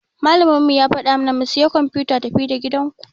Malamin mu ya fada mana mu siya kwamfuta tafi-da-gidanka.